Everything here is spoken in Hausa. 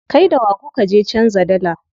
Kai da wa kuka je canza dalla?